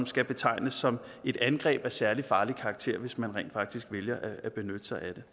skal betegnes som et angreb af særlig farlig karakter hvis man rent faktisk vælger at benytte sig af det